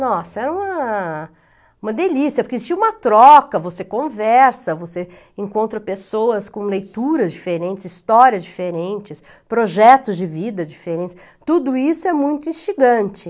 Nossa, era uma delícia uma, porque existia uma troca, você conversa, você encontra pessoas com leituras diferentes, histórias diferentes, projetos de vida diferentes, tudo isso é muito instigante.